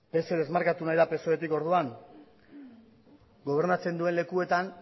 pse desmarkatu nahi da psoetik orduan gobernatzen duen lekuetan